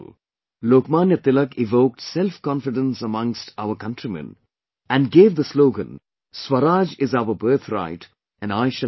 Lokmanya Tilak evoked self confidence amongst our countrymen and gave the slogan "Swaraj is our birth right and I shall have it